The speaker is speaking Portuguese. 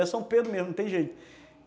Era São Pedro mesmo, não tem jeito.